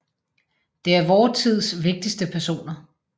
De er vor tids vigtigste personer